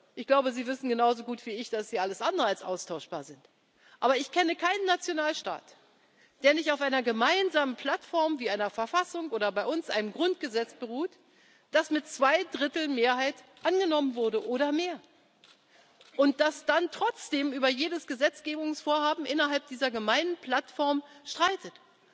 Ich glaube, Sie wissen genauso gut wie ich, dass sie alles andere als austauschbar sind. Aber ich kenne keinen Nationalstaat, der nicht auf einer gemeinsamen Plattform wie einer Verfassung oder bei uns einem Grundgesetz beruht, das mit Zweidrittelmehrheit oder mehr angenommen wurde, und der dann trotzdem über jedes Gesetzgebungsvorhaben innerhalb dieser gemeinsamen Plattform streitet.